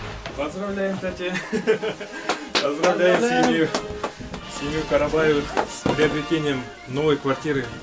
поздравляем тәте поздравляем семью семью карабаевых с приобретением новой квартиры